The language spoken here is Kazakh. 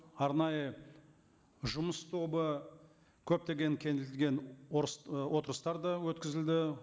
арнайы жұмыс тобы көптеген кеңейтілген ы отырыстар да өткізілді